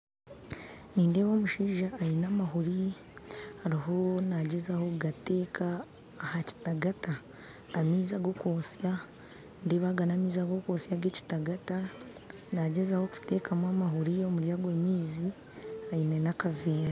Nindeeba omushaija aine amahuuri ariho nagyezaho kugateeka aha kitagaata amaizi ag'okwotsya nindeeba aga n'amaizi ag'okwotsya ag'ekitagaata nagyezaho kutekaamu amahuuri omuri ago maizi aine n'akaveera